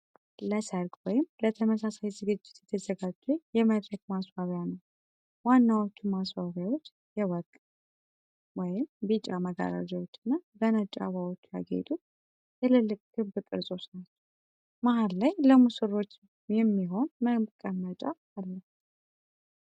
Gemini 2.5 Flash Conversation with Gemini ለሠርግ ወይም ለተመሳሳይ ዝግጅት የተዘጋጀ የመድረክ ማስዋቢያ ነው። ዋናዎቹ ማስዋቢያዎች የወርቅ (ቢጫ) መጋረጃዎች እና በነጭ አበባዎች ያጌጡ ትልልቅ ክብ ቅርጾች ናቸው። መሀል ላይ ለሙሽሮች የሚሆን ሶ መቀመጫ አለ።